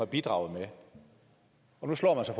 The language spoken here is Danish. bidraget med og nu slår man sig